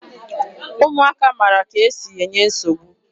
Ụmụaka mara ka e si enye nsogbu.